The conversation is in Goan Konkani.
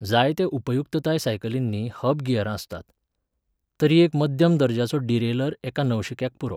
जायत्या उपयुक्तताय सायकलींनी हब गियरां आसतात. तरी एक मध्यम दर्जाचो डिरेलर एका नवशिक्याक पुरो.